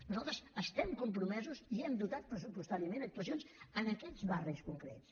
nosaltres estem compromesos i hem dotat pressupostàriament actuacions en aquests barris concrets